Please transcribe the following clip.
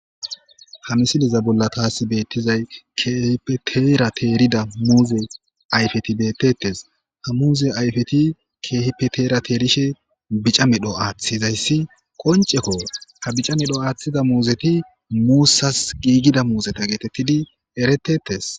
hamisiliza bolla taasi beettizay keehipeteerateerida muuze ayfeti bettetes ha muuze ayfeti keehipeterateerishe bica medho aaththizayssi qonceko ha bica medho aaththida muuzeti muussas giigida muuzeta geetettidi eretetes